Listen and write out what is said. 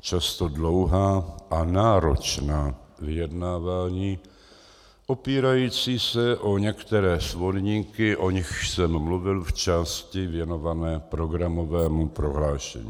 často dlouhá a náročná vyjednávání opírající se o některé svorníky, o nichž jsem mluvil v části věnované programovému prohlášení.